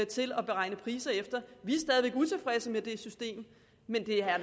til at beregne priser efter vi er stadig væk utilfredse med det system men det er